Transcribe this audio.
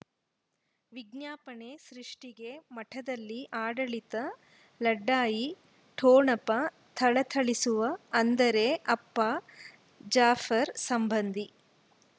ವಿಜ್ಞಾಪನೆ ಸೃಷ್ಟಿಗೆ ಮಠದಲ್ಲಿ ಆಡಳಿತ ಲಢಯಿ ಠೊಣಪ ಥಳಥಳಿಸುವ ಅಂದರೆ ಅಪ್ಪ ಜಾಫರ್ ಸಂಬಂಧಿ